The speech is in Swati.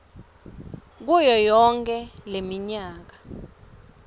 kuyo yonkhe leminyaka